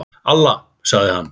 Alla, sagði hann.